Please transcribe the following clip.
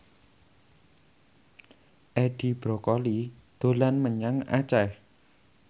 Edi Brokoli dolan menyang Aceh